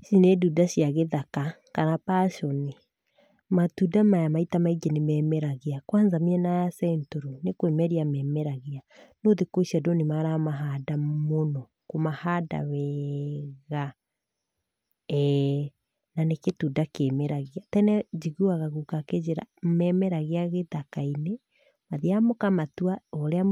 Ici nĩ ndunda cia gĩthaka, kana passion i. Matunda maya maita maingĩ nĩmemeragia, kwanza mĩena ya Central nĩ kwĩmeria memeragia. No thikũ ici andũ nĩmaramahanda mũno, kũmahanda weega eh, na nĩ kĩtunda kĩmeragia. Tene njiguaga guka akĩnjĩra, memeragia gĩthaka-inĩ, mwathiaga mũkamatua, o ũrĩa